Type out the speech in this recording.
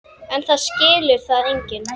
En það skilur það enginn.